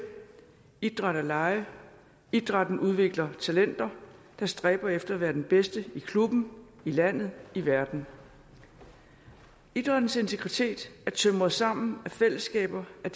idræt er leg og idrætten udvikler talenter der stræber efter at være den bedste i klubben i landet i verden idrættens integritet er tømret sammen af fællesskaber af